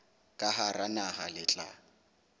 ka hara naha le tla